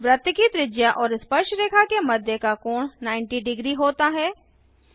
वृत्त की त्रिज्या और स्पर्शरेखा के मध्य का कोण 900 होता है